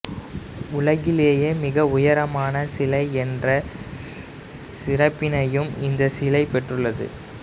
உலகிலேயே மிக உயரமான சிலை என்ற சிறப்பினையும் இந்தச் சிலை பெற்றுள்ளது